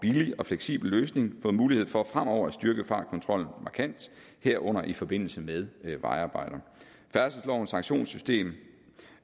og fleksibel løsning fået mulighed for fremover at styrke fartkontrollen markant herunder i forbindelse med vejarbejder færdselslovens sanktionssystem